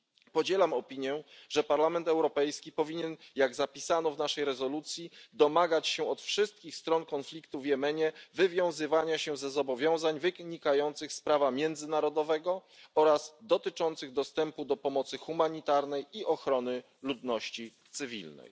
Podzielam opinię, że Parlament Europejski powinien jak zapisano w naszej rezolucji domagać się od wszystkich stron konfliktu w Jemenie wywiązywania się ze zobowiązań wynikających z prawa międzynarodowego oraz dotyczących dostępu do pomocy humanitarnej i ochrony ludności cywilnej.